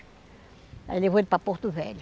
Aí levou ele para Porto Velho.